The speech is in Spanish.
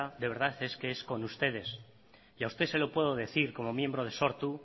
de verdad es que con ustedes y a usted se lo puedo decir como miembro de sortu